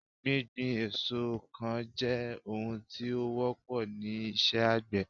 gbigbin èso kan je ohun tí ó wọ́pọ ni iṣẹ àgbè